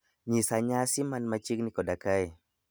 nyisa nyasi man machiegni koda kae